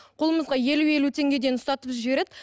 қолымызға елу елу теңгеден ұстатып жібереді